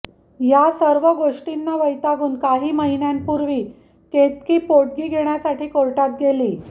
यासर्व गोष्टींना वैतागून काही महिन्यांपूर्वी केतकी पोटगी घेण्यासाठी कोर्टात गेली